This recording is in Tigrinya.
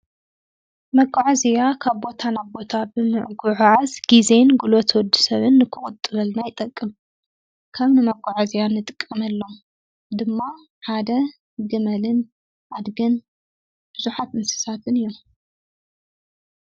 መጓዓዝያ ካብ ቦታ ናብ ቦታ ብምጉዓዓዝ ግዜን ጉልበት ወዲሰብን ንክቑጥበልና ይጠቅም። ከም መጉዓዝያ እንጥቀመሎም ድማ ሓደ ግመልን ኣድግን ብዙሓት እንስሳትን እዮም።